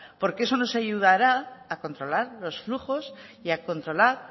porque eso nos ayudará a controlar los flujos y a controlar